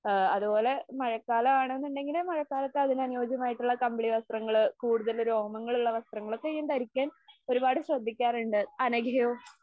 ആ അതുപോലെ മഴക്കാലം ആണ് എന്നുണ്ടെങ്കില് മഴക്കാലത്ത് അതിന് അനുയോജ്യമായിട്ടുള്ള കമ്പിളി വസ്ത്രങ്ങള്, കൂടുത്തൽ രോമങ്ങളുള്ള വസ്ത്രങ്ങള് ഒക്കെ ഞാൻ ധരിക്കാൻ ഒരുപാട് ശ്രദ്ധിക്കാറുണ്ട്. അനഘയോ?